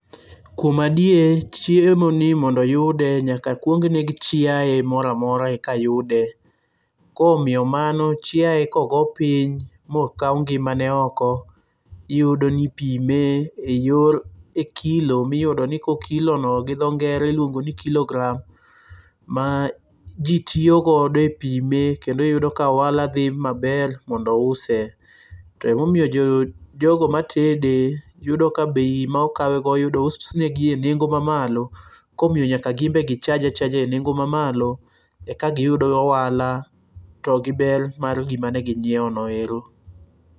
Kuom adier chiemo ni mondo yude nyaka kuong neg chieye mora mora eka yude koro miyo mano chiaye kogo piny mokau ngimane oko iyudo ni ipime e yor e kilo miyudoni ko kilono gi tho ngere iluongo ni kilogram ma ji tiyogodo e pime kendo iyudo ka ohala thi maber mondo use, to momiyo jogo matede yudo ka bei ma okawegodo onengo usnegi e nengo mamalo komiyo nyaka gimbe chaje achaja e nengo' mamalo eka giyud ohala to gi ber mar gima ne gi nyiewo no ero